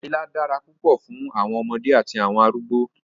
Ọbẹ̀ ilá dára púpọ̀ fún àwọn ọmọdé àti àwọn arúgbọ̀.